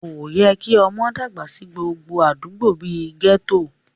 Kò yẹ kí ọmọ dàgbà sí gbogbo àdúgbò bí i gẹ́tò